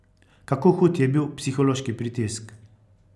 Kako hud je bil psihološki pritisk?